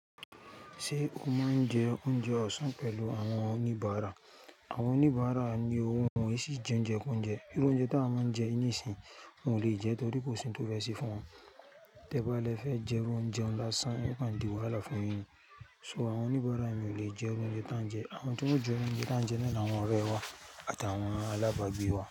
Ṣé o máa ń jẹ oúnjẹ ọ̀sán pẹ̀lú àwọn oníbàárà? Àwọn oníbàárà ni owó wọn, wọ́n sì jẹ oúnjẹ ko óúnjẹ. Irú oúnjẹ tí a máa ń jẹ nísìnyí wọn ò lè jẹ́ torí kò sí oun to fẹ́ se fún wọn. Tẹ́ ba lẹ fẹ́ jẹ irú oúnjẹ ńlá sáń, ẹ kan di wàhálà fún yin ni. So àwọn oníbàárà mi ò lè jẹ irú oúnjẹ tá ń jẹ. Àwọn tí wọ́n ó jẹ irú oúnjẹ tá ń jẹ náà ni àwọn ọ̀rẹ́ wa àti àwọn alábàágbé wa.